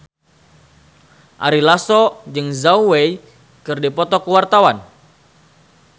Ari Lasso jeung Zhao Wei keur dipoto ku wartawan